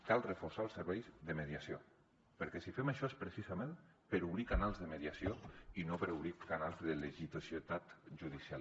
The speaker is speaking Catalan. cal reforçar els serveis de mediació perquè si fem això és precisament per obrir canals de mediació i no per obrir canals de litigiositat judicial